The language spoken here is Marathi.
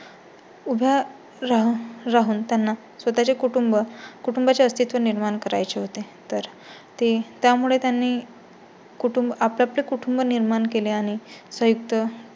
उभ राहून राहून त्यांना स्वतः चे कुटुंब कुटुंबा चे अस्तित्व निर्माण करायचे होते तर ते त्यामुळे त्यांनी कुटुंब आपआपले कुटुंब निर्माण केले आणि संयुक्त